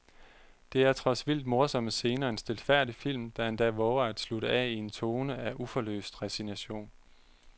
Der er trods vildt morsomme scener en stilfærdig film, der endda vover at slutte af i en tone af uforløst resignation.